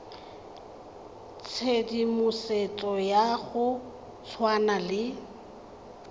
tshedimosetso ya go tshwana le